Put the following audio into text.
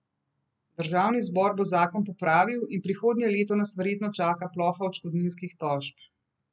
Državni zbor bo zakon popravil in prihodnje leto nas verjetno čaka ploha odškodninskih tožb.